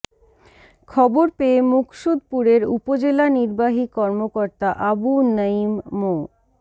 খবর পেয়ে মুকসুদপুরের উপজেলা নির্বাহী কর্মকর্তা আবু নইম মো